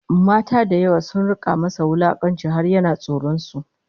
Mata da yawa sun rika masa wulakanci har yana tsoron su